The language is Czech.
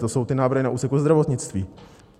To jsou ty návrhy na úseku zdravotnictví.